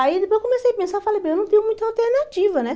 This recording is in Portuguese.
Aí depois eu comecei a pensar, falei, bem, eu não tenho muita alternativa, né?